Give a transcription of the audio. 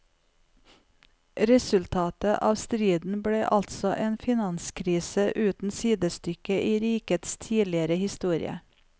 Resultatet av striden ble altså en finanskrise uten sidestykke i rikets tidligere historie.